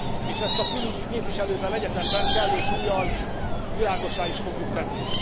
és ezt a külügyi képviselővel egyetemben kellő súllyal világossá is fogjuk tenni.